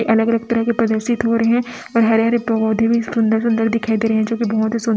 ये अलग अलग तरह के प्रदर्शित हो रहे हैं हरे हरे पौधे भी सुंदर सुंदर दिखाई दे रहे हैं जोकि बहोत सुं--